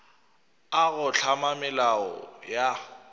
a go hlama melao ya